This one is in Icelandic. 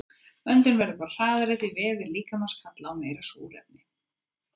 Öndun verður hraðari því vefir líkamans kalla á meira súrefni.